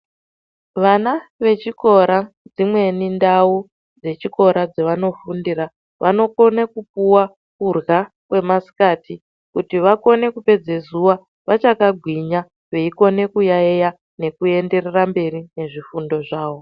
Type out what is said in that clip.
Vana vechikora dzimweni ndau dzechikora dzavanofundira vanokone kupuwa kurya kwemasikati kuti vakone kupedze zuwa vachakagwinya veikona kuyaiya nekuenderera mberi nezvifundo zvavo.